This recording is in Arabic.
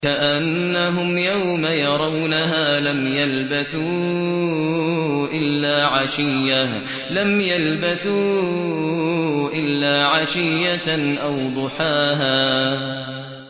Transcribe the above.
كَأَنَّهُمْ يَوْمَ يَرَوْنَهَا لَمْ يَلْبَثُوا إِلَّا عَشِيَّةً أَوْ ضُحَاهَا